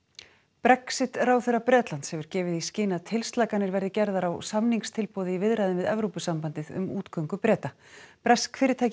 Brexit ráðherra Bretlands hefur gefið í skyn að tilslakanir verði gerðar á samningstilboði í viðræðum við Evrópusambandið um útgöngu Breta bresk fyrirtæki